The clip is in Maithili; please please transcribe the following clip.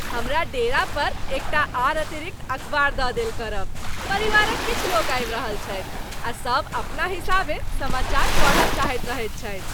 हमरा डेरा पर एकटा आओर अतिरिक्त अखबार दऽ देल करब। परिवारक किछु लोक आबि रहल छथि आ सब अपना हिसाबें समाचार पढ़य चाहैत रहैत छथि।